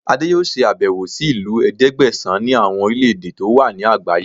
Adé yóò ṣe àbẹ̀wò sí ìlú ẹ̀ẹ́dẹ́gbẹ̀sán ní àwọn orílẹ̀ èdè tó wà ní àgbáyé